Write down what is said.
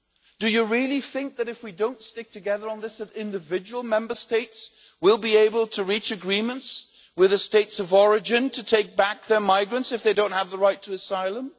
Do you really think that if we do not stick together on this, individual Member States will be able to reach agreements with the states of origin to take back their migrants if they do not have the right to asylum?